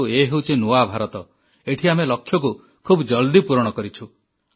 କିନ୍ତୁ ଏ ହେଉଛି ନୂଆ ଭାରତ ଏଠି ଆମେ ଲକ୍ଷ୍ୟକୁ ଖୁବ୍ ଜଲଦି ପୂରଣ କରିଛୁ